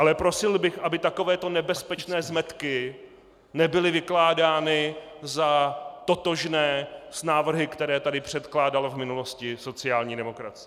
Ale prosil bych, aby takovéto nebezpečné zmetky nebyly vykládány za totožné s návrhy, které tady předkládala v minulosti sociální demokracie.